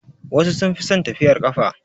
Wasu sun fi son tafiyar ƙafa.